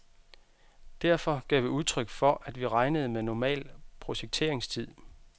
Derfor gav vi udtryk for at vi regnede med normal projekteringstid.